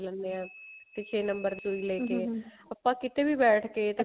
ਜਾਣੇ ਆਂ ਤੇ ਛੇ number ਸੁਈ ਲੈਕੇ ਆਪਾਂ ਕਿਤੇ ਵੀ ਬੈਠ ਕੇ